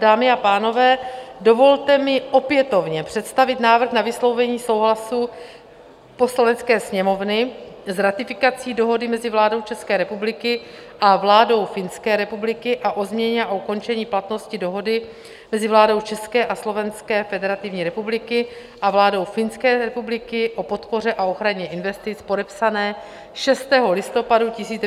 Dámy a pánové, dovolte mi opětovně představit návrh na vyslovení souhlasu Poslanecké sněmovny s ratifikací dohody mezi vládou České republiky a vládou Finské republiky a o změně a ukončení platnosti dohody mezi vládou České a Slovenské federativní republiky a vládou Finské republiky o podpoře a ochraně investic, podepsané 6. listopadu 1990 v Praze.